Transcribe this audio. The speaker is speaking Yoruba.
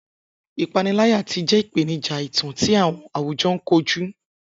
Ipanilaya ti jẹ ipenija itan ti awọn awujọ koju.